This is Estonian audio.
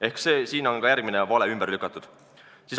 Ehk sellega on ka järgmine vale ümber lükatud.